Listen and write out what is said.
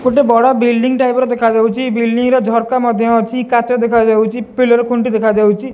ଗୋଟେ ବଡ଼ building type ର ଦେଖାଯାଉଛି ବିଲଡିଂ ରେ ଝରକା ମଧ୍ୟ ଅଛି କାଚ ଦେଖାଯାଉଛି ପିଲର ଖୁଣ୍ଟି ଦେଖାଯାଉଛି।